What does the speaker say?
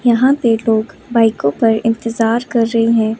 यहां पर लोग बाइको को पर इंतजार कर रहे है।